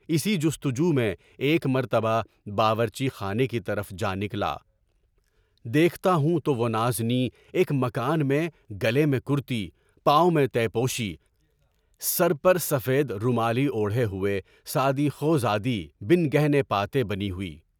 اسی جستجو میں ایک مرتبہ باورچی خانے کی طرف جا نکلا، دیکھتا ہوں تو وہ نازنین ایک مکان میں گلی میں ٹہلتی، یعنٰی میں تہہ پوشی، سر پر سفید رومال اوڑھے ہوئے، سادی خوادی بن گہنے پاتے بنی ہوئی۔